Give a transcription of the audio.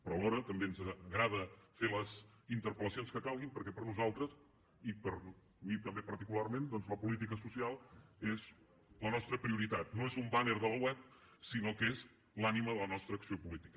però alhora també ens agrada fer les interpel·lacions que calguin perquè per a nosaltres i per a mi també particularment doncs la política social és la nostra prioritat no és un banner de la web sinó que és l’ànima de la nostra acció política